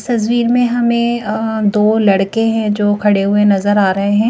सजवीर में हमें अं दो लड़के हैं जो खड़े हुए नज़र आ रहे हैं।